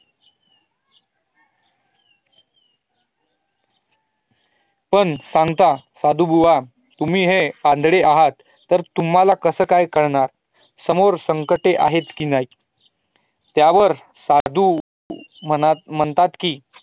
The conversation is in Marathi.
पण सांगता साधू बुआ तुम्ही हे आंधळे आहात तर तुम्हाला कसं काय कळणार समोर संकटे आहेत की नाही त्यावर साधू मनात म्हणतात की